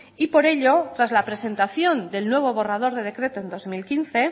y por ello tras la presentación del nuevo borrador de decreto en dos mil quince